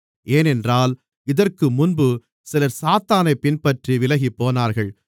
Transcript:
ஏனென்றால் இதற்குமுன்பு சிலர் சாத்தானைப் பின்பற்றி விலகிப்போனார்கள்